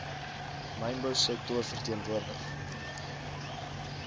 mynbou sektor verteenwoordig